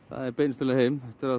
það er beinustu leið heim eftir að